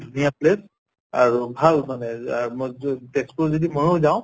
ধুনীয়া place আৰু ভাল মানে যা মই য তেজপুৰ যদি ময়ো যাওঁ